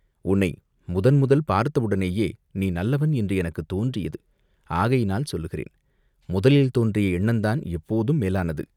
உன்னை முதன்முதல் பார்த்தவுடனேயே நீ நல்லவன் என்று எனக்குத் தோன்றியது ஆகையினால் சொல்லுகிறேன்.முதலில் தோன்றிய எண்ணந்தான் எப்போதும் மேலானது.